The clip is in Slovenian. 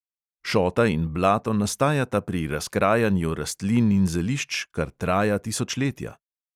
Šota in blato nastajata pri razkrajanju rastlin in zelišč, kar traja tisočletja.